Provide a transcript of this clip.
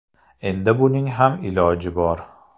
Endi buning ham iloji bor.